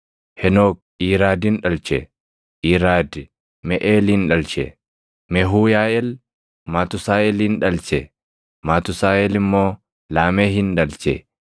Henook Iiraadin dhalche; Iiraadi Meʼeelin dhalche; Mehuuyaaʼeel Matusaaʼelin dhalche; Matusaaʼel immoo Laamehin dhalche.